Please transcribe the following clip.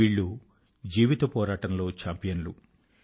వాళ్ళు జీవిత పోరాటంలో చాంపియన్లు